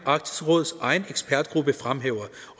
arktisk råds egen ekspertgruppe fremhæver